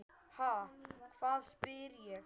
Ha, hvað? spyr ég.